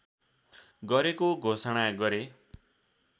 गरेको घोषणा गरे